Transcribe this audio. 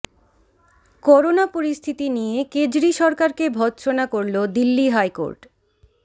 corona পরিস্থিতি নিয়ে কেজরি সরকারকে ভৎসনা করল দিল্লি হাইকোর্ট